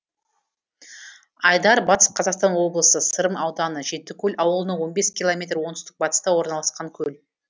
айдар батыс қазақстан облысы сырым ауданы жетікөл ауылынан он бес километр оңтүстік батыста орналасқан көл